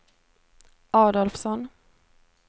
Adolfsson